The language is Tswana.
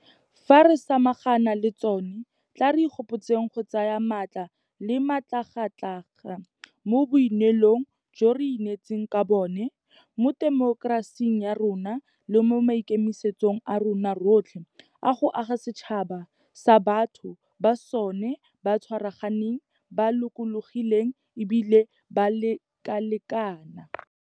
Fa re samagana le tsona, tla re ikgopotseng go tsaya maatla le matlhagatlhaga mo boineelong jo re ineetseng ka bona mo temokerasing ya rona le mo maikemisetsong a rona rotlhe a go aga setšhaba se batho ba sona ba tshwaraganeng, ba lokologileng e bile ba lekalekana.